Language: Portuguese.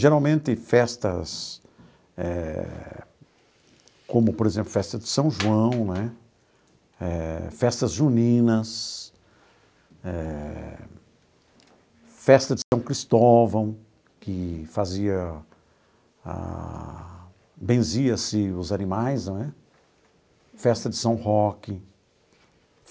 Geralmente, festas eh como, por exemplo, festa de São João né eh, festas juninas eh, festa de São Cristóvão, que fazia a benzia-se os animais né, festa de São Roque.